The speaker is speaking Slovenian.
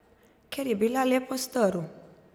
Ker je bila le postrv ...